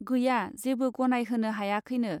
गैया जेबो गनायहोनो हायाखैनो.